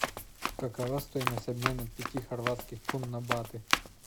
какова стоимость обмена пяти хорватских кун на баты